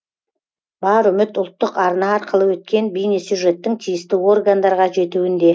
бар үміт ұлттық арна арқылы өткен бейнесюжеттің тиісті органдарға жетуінде